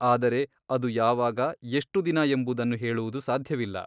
ಆದರೆ ಅದು ಯಾವಾಗ ಎಷ್ಟು ದಿನ ಎಂಬುದನ್ನು ಹೇಳುವುದು ಸಾಧ್ಯವಿಲ್ಲ.